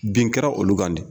Bin kɛra olu kan di.